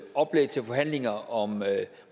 oplæg til forhandlinger om